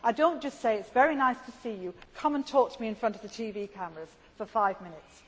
plan. I do not say, it is very nice to see you, come and talk to me in front of the TV cameras for five minutes.